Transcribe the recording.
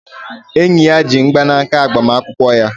Enyi ya ji mgbanaka agbamakwụkwọ ya.